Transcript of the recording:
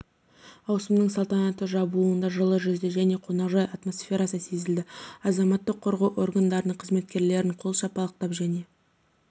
ауысымның салтанатты жабылуында жылы жүзді және қонақжай атмосферасы сезілді азаматтық қорғау органдарының қызметкерлерін қол шапалақтап және